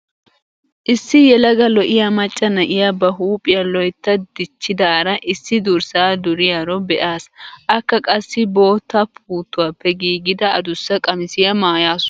Issi yelaga lo'iya macca na'iya ba huuphiua loytta dichchidaara issi durssaa duriyaro be'aas. Akka qassi bootta puuttuwappe giigida adaussa qamisiya maayaasu.